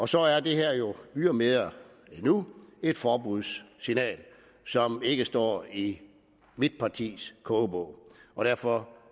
så er det her jo ydermere endnu et forbudssignal som ikke står i mit partis kogebog og derfor